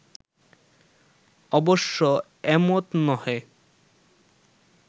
অবশ্য এমত নহে